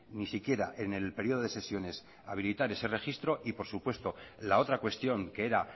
ni siquiera en el periodo de sesiones habilitar ese registro y por supuesto la otra cuestión que era